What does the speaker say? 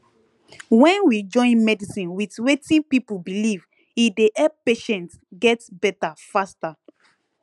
when we join medicine with wetin people believe e dey help patients get better faster